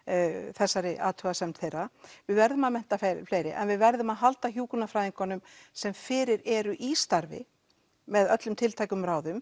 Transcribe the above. þessari athugasemd þeirra við verðum að mennta fleiri en við verðum að halda hjúkrunarfræðingunum sem fyrir eru í starfi með öllum tiltækum ráðum